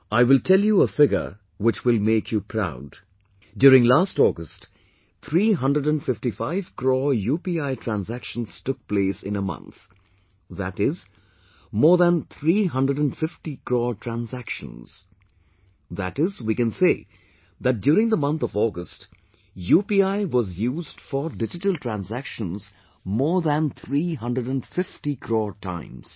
I will tell you a figure which will make you proud; during last August, 355 crore UPI transactions took place in one month, that is more than nearly 350 crore transactions, that is, we can say that during the month of August UPI was used for digital transactions more than 350 crore times